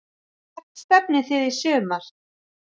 Hvert stefnið þið í sumar?